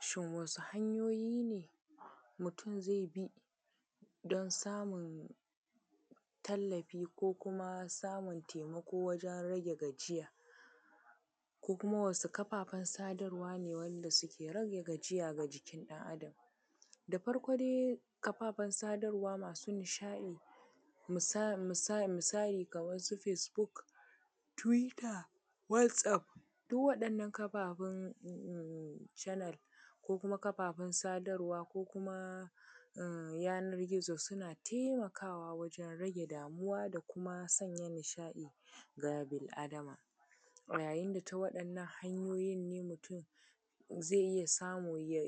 Shin wasu hanyoyi ne mutum zai bi don samun tallafi, ko kuma samun taimako wajen rage gajia? Ko kuma wasu kafaffen sadarwa ne wanda suke rage gajiya ga jikin ɗan Adam? Da farko dai kafaffan sadarwa masu nishaɗi, misali kaman su Facebook, twitter, WhatsApp duk waɗannan kafaffan um, canal ko kuma kafaffan sadarwa, ko kuma um, yanar gizo suna taimakawa wajen rage damuwa da kuma sanya nishaɗi ga bil Adama, yayin ta waɗannan hanyoyin ne mutum ze iya samu ya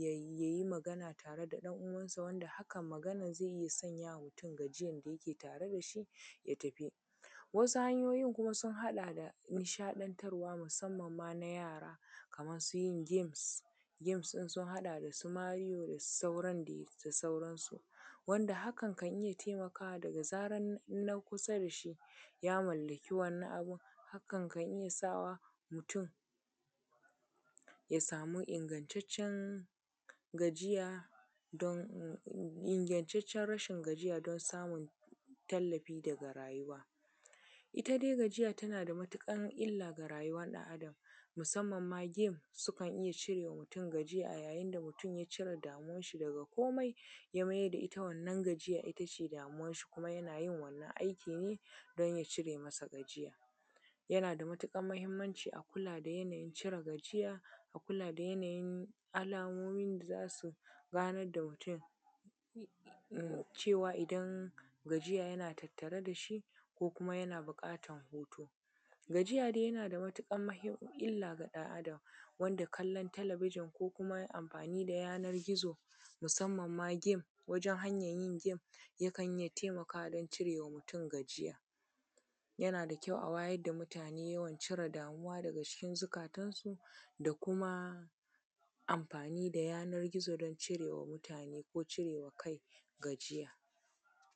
yi magana tare da dan uwan sa, wanda haka maganan zai yi ya sanyama mutum gajiyan da yake tare dashi ya tafi. Wasu hanyoyin kuma sun haɗa da nishaɗantarwa, musamman ma na yara, kaman su yin gems, gems din sun haɗa dasu mirino da sauran dai da sauransu. Wanda hakan kan iya taimakawa daga zaran na kusa dashi ya mallaki wannan abun hakan kan iya sawa mutum ya samu ingantaccen gajiya don, Inagataccen rashin gajiya don samun tallafi daga rayuwa. Ita dai gajia tana da matuƙan illa ga rayuwar ɗan Adam, musammanma gems sukan iya cirema mutum gajiya a yayin da mutum ya cire damuwan shi daga kome ya mayar da ita wannan gajiyar itace damuwan, kuma yana yin wannan aiki ne don ya cire masa gajiya. Yana da matuƙar mahimmanci a kula da yana yin cire gajiya,a kula da yanayin alamomin da za su ganar mutum cewa idan gajiya yana tattare da shi ko kuma yana buƙatan hutu. Gajiya dai yana da matuƙan mahimm, illa ga ɗan Adam, wanda kallon talabijin ko kuma amfani da yanar gizo, musamman ma gem, wajen hanyan yin gem yakan iya taimakawa wajen cirema mutum gajiya. Yana kyau a wayar da mutane wajen cire damuwa daga cikin zukatansu, da kuma amfani da yanar gizo don cire wa mutane ko cirewa kai gajiya.